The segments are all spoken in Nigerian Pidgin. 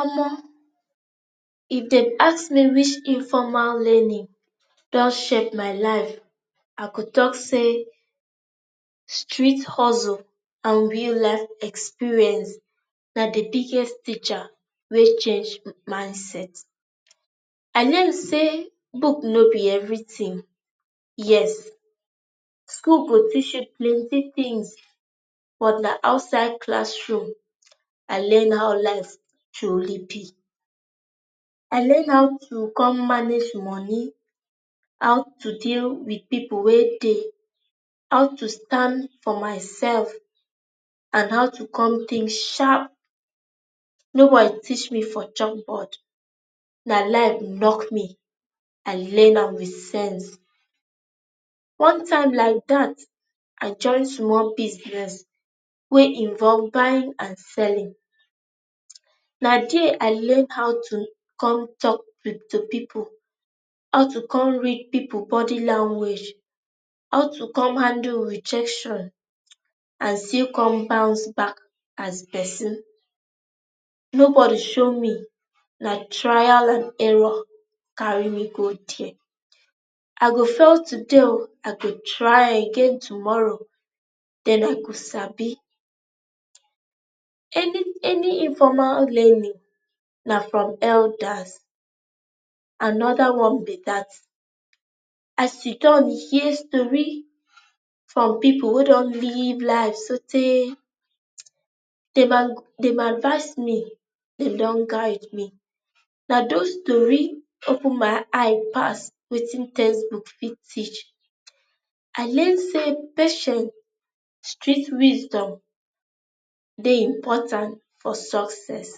omo, if den ask me which informal learning dun shape my life ah go talk say street hustle and real life experience na the biggest teacher wey change m mindset. i learn say book no be everything, yes. school go teach you plenty things but na outside classroom i learn how life truly be. i learn how to come manage money, how to deal with people wey dey how to stand for my self and how to come think sharp. no body teach me for chalk board. na life knock me. i learn am with sense. one time like that i join small business wey involve buying and selling um na there i learn how to come talk wi to people, how to come read people body lanuage, how to come handle rejection um and still come bounce back as person. nobody show na me trial and error carry me go there. i go fail today o, i go try again tomorrow then i go sabi. any any informal learning na from elders another one be that. i sidon hear stori from people wey dun live life sotey um dey advice me dey dun guide me na those tori open my eye pass wetin text book fit teach. i learn say pashin street wisdom dey importan for success.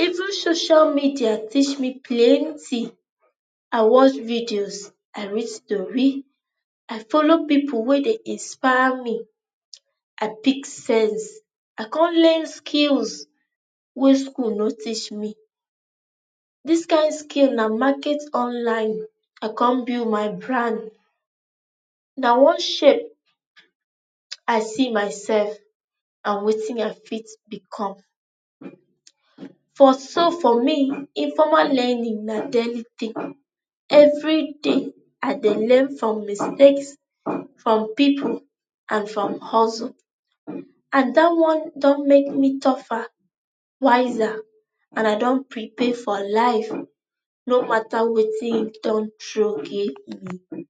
[um]Even shoshial media teach me plennty. I watch videos, I read story i follow people wey dey inspire me um i pick sense. i con learn skills wey school no teash me. this kind skill na market online i come build my bran. na one shape um i see myself and wetin i fit become. for so for me, informal learning na daily thing every day i dey learn from mistakes, from people and from hustle and that one dun make me tougher, wiser and i dun prepare for life no matter wetin dun throw give me.